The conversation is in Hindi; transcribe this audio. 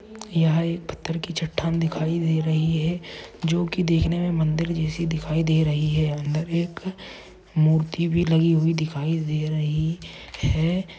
यहा एक पत्थर कि चट्टान दिखाई दे रही है जो कि दिखने मे मंदिर जैसी दिखाई दे रही है अंदर एक मूर्ति भी लगी हुई दिखाई दे रही है।